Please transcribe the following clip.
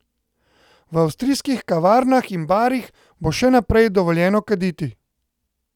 V avstrijskih kavarnah in barih bo še naprej dovoljeno kaditi.